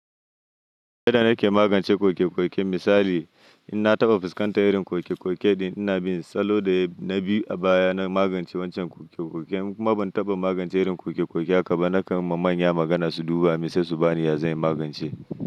Yadda nake magance kokekoke misali, in na taɓa fuskantar irin kokekoke din, ina bin salo da na bi a baya na magance wancan kokekoke. In kuma ban taɓa magance irin kokekoke haka ba, nakan yi ma manya magana su duba, sai su ba ni yazanyi in magance.